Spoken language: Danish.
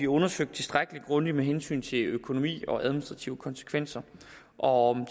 undersøgt tilstrækkelig grundigt med hensyn til økonomi og administrative konsekvenser og